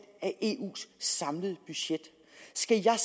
af eus samlede budget skal jeg